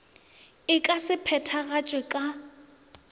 e ka se phethagatšwego ka